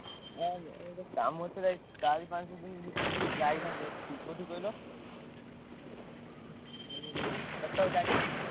ନା ଏଇ ଗୋଟେ କାମ ଥିଲା ଚାରି ପାଞ୍ଚ ଦିନି ଭିତେରେ ଟିକେ ଯାଇଥାନ୍ତି ଏଠିକି କଉଁଠିକି କହିଲ? କଟକ ଯାଇଥାନ୍ତି।